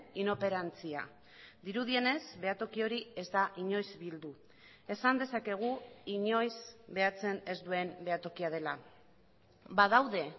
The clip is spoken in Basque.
inoperantzia dirudienez behatoki hori ez da inoiz bildu esan dezakegu inoiz behatzen ez duen behatokia dela badaude